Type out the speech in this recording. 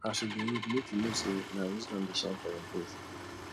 as you dey old make you know sey na wisdom dey shine for your face